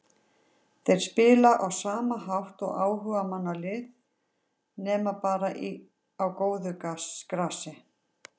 Þeir spila á sama hátt og áhugamannalið nema bara á góðu grasi.